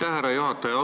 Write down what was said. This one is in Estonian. Aitäh, härra juhataja!